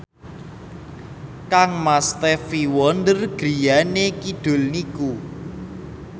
kangmas Stevie Wonder griyane kidul niku